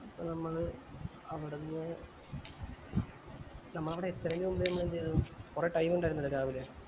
അപ്പൊ നമ്മള് അവിടുന്ന് നമ്മൾ അവിടെ എത്തണവരെ എന്താ ചെയ്തേ കൊറേ time ഇണ്ടായിരുന്നല്ലോ രാവിലെ